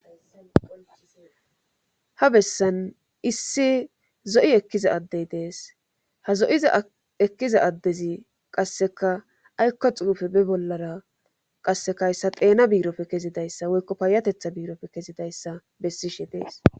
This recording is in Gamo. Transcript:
ha bessan issi zo7i ekkiza addey dees ha zo7iza ekkiza addezi qasseka aykko xuufe be bollara qassekahyssa xeena biirofe kezidayssa woykko payatetha biirofe kezidayssa bessishe dees